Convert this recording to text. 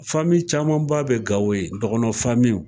caman ba bɛ Gawo yen dɔgɔnɔn